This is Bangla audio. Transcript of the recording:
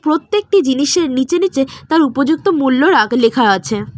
প্রত্যেকটি জিনিসের নীচে নীচে তার উপযুক্ত মূল্য রাগ লেখা আছে।